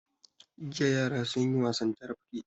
Jiya yara sun yi wasan carafke.